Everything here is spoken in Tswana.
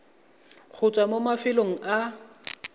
go tswa mo mafelong a